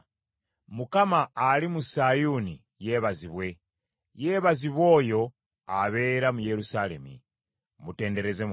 Mukama ali mu Sayuuni yeebazibwe; yeebazibwe oyo abeera mu Yerusaalemi. Mutendereze Mukama .